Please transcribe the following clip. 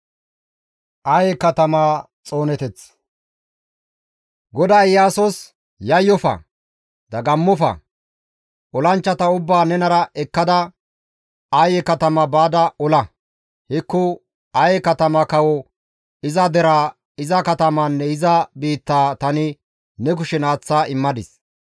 GODAY Iyaasos, «Yayyofa; dagammofa! Olanchchata ubbaa nenara ekkada, Aye katama baada ola. Hekko Aye katama kawo, iza deraa, iza katamaanne iza biittaa tani ne kushen aaththa immadis.